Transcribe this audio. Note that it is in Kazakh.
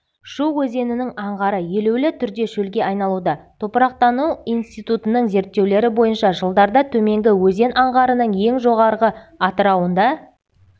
шу өзенінің аңғары елеулі түрде шөлге айналуда топырақтану институтының зертеулері бойынша жылдарда төменгі өзен аңғарының ең жоғарғы атырауында